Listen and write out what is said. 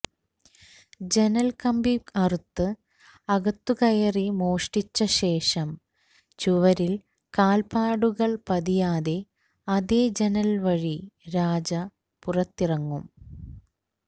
ജനൽക്കമ്പി അറുത്ത് അകത്തുകയറി മോഷ്ടിച്ച ശേഷം ചുവരിൽ കാൽപാടുകൾ പതിയാതെ അതേ ജനൽ വഴി രാജ പുറത്തിറങ്ങും